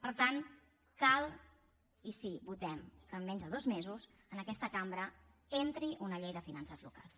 per tant cal i sí votem que en menys de dos mesos en aquesta cambra entri una llei de finances locals